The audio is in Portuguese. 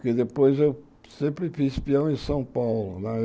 Porque depois eu sempre fiz peão em São Paulo. Lá